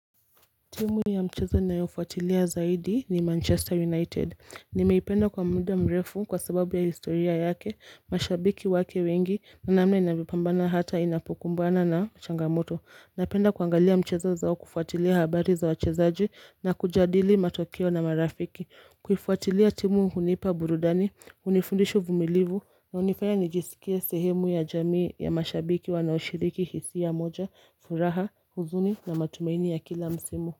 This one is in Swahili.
Timu ya mchezo ninayofuatilia zaidi ni Manchester United. Nimeipenda kwa muda mrefu kwa sababu ya historia yake, mashabiki wake wengi, na namna inavyopambana hata inapokumbana na changamoto. Napenda kuangalia mchezo zao kufuatilia habari za wachezaji na kujadili matokeo na marafiki. Kufwatilia timu hunipa burudani, hunifundisha uvumilivu, na hunifaya nijisikie sehemu ya jamii ya mashabiki wanaoshiriki hisia moja, furaha, huzuni, na matumaini ya kila msimu.